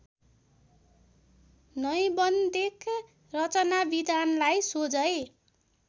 नैबन्धिक रचनाविधानलाई सोझै